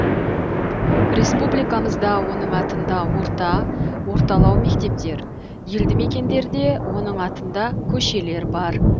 республикамызда оның атында орта орталау мектептер елді мекендерде оның атында көшелер бар